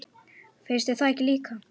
Finnst þér það ekki líka?